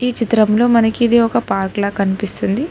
ఈ చిత్రంలో మనకి ఇది ఒక పార్క్ లా కనిపిస్తుంది.